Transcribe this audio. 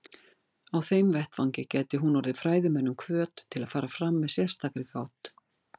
Á þeim vettvangi gæti hún orðið fræðimönnum hvöt til að fara fram með sérstakri gát.